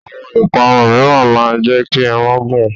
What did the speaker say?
Àwọn ìparun mìíràn máa ń jẹ́ kí irun gùn.